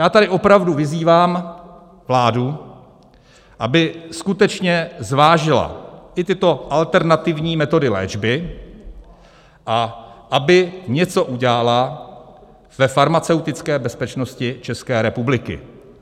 Já tady opravdu vyzývám vládu, aby skutečně zvážila i tyto alternativní metody léčby a aby něco udělala ve farmaceutické bezpečnosti České republiky.